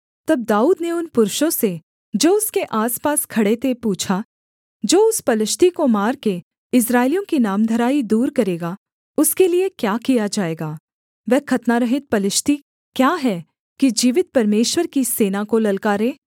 तब दाऊद ने उन पुरुषों से जो उसके आसपास खड़े थे पूछा जो उस पलिश्ती को मारकर इस्राएलियों की नामधराई दूर करेगा उसके लिये क्या किया जाएगा वह खतनारहित पलिश्ती क्या है कि जीवित परमेश्वर की सेना को ललकारे